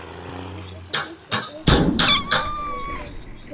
Húsið þitt er hlýtt og byrgt, harðviðra svo verjist straumi.